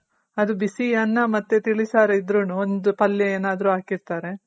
ಅದು ಬಿಸಿ ಅನ್ನ ಮತ್ತೆ ತಿಳಿ ಸಾರು ಇದ್ರುನು ಒಂದು ಪಲ್ಯ ಏನಾದ್ರು ಹಾಕಿರ್ತಾರೆ.